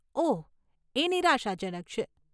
ઓહ, એ નિરાશાજનક છે.